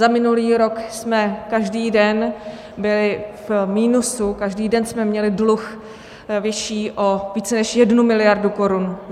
Za minulý rok jsme každý den byli v minusu, každý den jsme měli dluh vyšší o více než jednu miliardu korun.